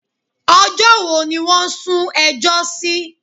Ọjọ́ wo ni wọ́n sún ẹjọ́ sí?